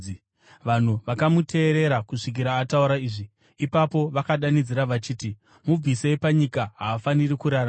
Vanhu vakamuteerera kusvikira ataura izvi. Ipapo vakadanidzira vachiti, “Mubvisei panyika! Haafaniri kurarama!”